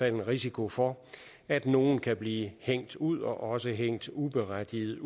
en risiko for at nogle kan blive hængt ud og også helt uberettiget